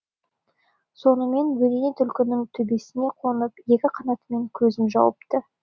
сонымен бөдене түлкінің төбесіне қонып екі қанатымен көзін жауыпты